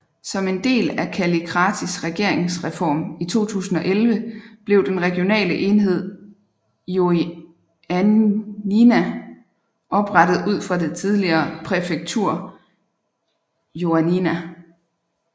Som en del af Kallikratis regeringsreform i 2011 blev den regionale enhed Ioannina oprettet ud fra det tidligere præfektur Ioannina